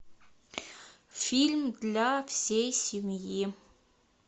фильм для всей семьи